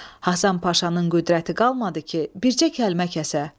Həsən Paşanın qüdrəti qalmadı ki, bircə kəlmə kəsə.